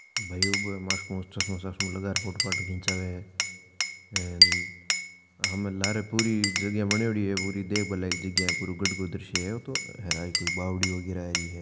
भाई ऊबो है मास्क मुस्क चश्मों वस्मो लगा र फोटो फाटो खींचावे हेन हम लारे पूरी जगह बनोयोड़ी है पूरी देखबा लायक जगह है पुरो गढ़ को दर्शये है ओ तो हेर आ ही कोई बावड़ी वगेरा ही है।